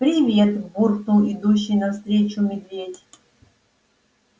привет буркнул идущий навстречу медведь